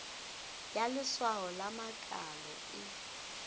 ya leswao la makalo e